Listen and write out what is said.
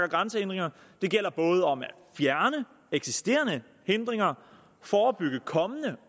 grænsehindringer det gælder både om at fjerne eksisterende hindringer forebygge kommende